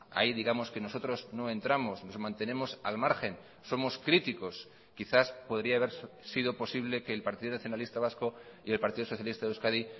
ahí digamos que nosotros no entramos nos mantenemos al margen somos críticos quizás podría haber sido posible que el partido nacionalista vasco y el partido socialista de euskadi